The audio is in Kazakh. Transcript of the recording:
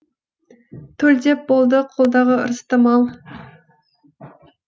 төлдеп болды қолдағы ырысты мал